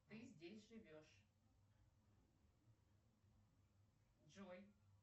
ты здесь живешь джой